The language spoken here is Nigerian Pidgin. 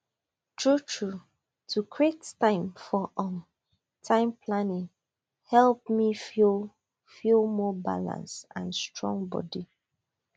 truetrue to create time for um time planning help me feel feel more balanced and strong body